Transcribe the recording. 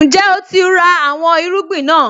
Ǹjẹ́ o ti ra àwọn irúgbìn náà?